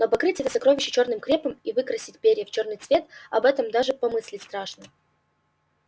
но покрыть это сокровище чёрным крепом и выкрасить перья в чёрный цвет об этом даже помыслить страшно